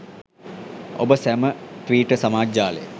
ඔබ සැම ට්විටර් සමාජ ජාලය